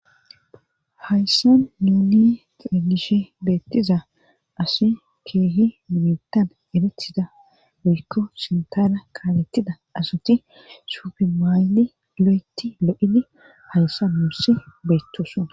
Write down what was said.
Hayssa nuni xegishe beettiza asi keehi mimetan erethida woykko sintala kaalettida asati suufe maayli lo7eti lo7idi hayssa muussi beettoson.